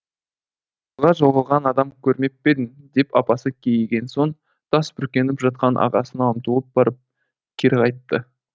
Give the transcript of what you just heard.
мұзға жығылған адам көрмеп пе едің деп апасы кейіген соң тас бүркеніп жатқан ағасына ұмтылып барып кері қайтты